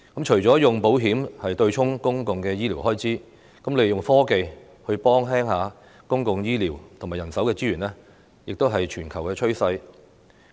除了以保險對沖公共的醫療開支，利用科技來減輕公共醫療及人手資源負擔，亦是全球趨勢。